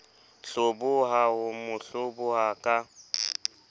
hloboha ho mo hloboha ka